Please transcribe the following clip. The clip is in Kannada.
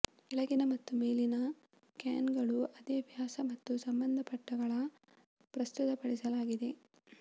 ಕೆಳಗಿನ ಮತ್ತು ಮೇಲಿನ ಕ್ಯಾನುಗಳು ಅದೇ ವ್ಯಾಸ ಮತ್ತು ಸಂಬಂಧಪಟ್ಟಗಳ ಪ್ರಸ್ತುತಪಡಿಸಲಾಗಿದೆ